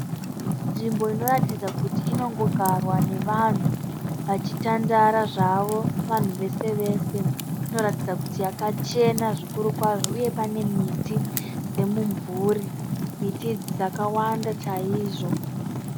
Nzvimbo inotaridza kuti inongogarwa nevanhu vachitandara zvavo vanhu vese vese. Inotaridza kuti yakachena zvikuru kwazvo uye pane miti yemimvuri. Miti idzi dzakawanda kwazvo.